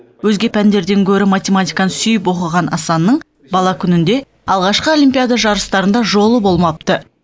өзге пәндерден гөрі математиканы сүйіп оқыған асанның бала күнінде алғашқы олимпиада жарыстарында жолы болмапты